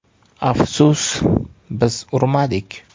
Afsus, biz urmadik.